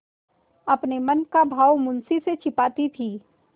अपने मन का भाव मुंशी से छिपाती थी